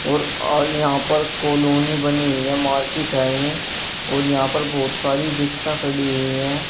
और आगे यहां पर कॉलोनी बनी हुई है मार्केट है ये और यहां पर बहोत सारी रिक्शा खड़ी हुई है।